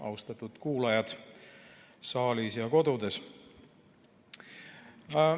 Austatud kuulajad saalis ja kodudes!